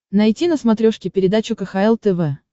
найти на смотрешке передачу кхл тв